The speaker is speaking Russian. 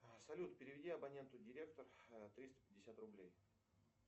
салют переведи абоненту директор триста пятьдесят рублей